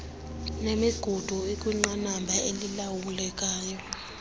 nemigudu ikwinqanaba elilawulekayo